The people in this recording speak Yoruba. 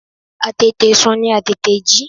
Àtètè sùn ni Àtètè jí.